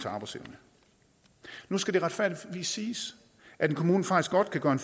arbejdsevnen nu skal det retfærdigvis siges at en kommune faktisk godt kan gøre en